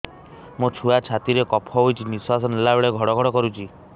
ମୋ ଛୁଆ ଛାତି ରେ କଫ ହୋଇଛି ନିଶ୍ୱାସ ନେଲା ବେଳେ ଘଡ ଘଡ କରୁଛି